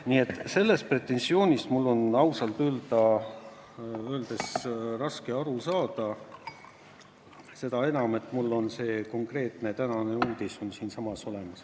Nii et sellest pretensioonist mul on ausalt öeldes raske aru saada, seda enam, et mul on see konkreetne tänane uudis siinsamas olemas.